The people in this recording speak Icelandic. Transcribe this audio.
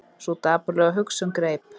Sú dapurlega hugsun greip